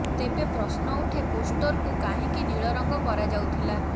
ତେବେ ପ୍ରଶ୍ନ ଉଠେ ପୋଷ୍ଟରକୁ କାହିଁକି ନୀଳ ରଙ୍ଗ କରଯାଉଥିଲା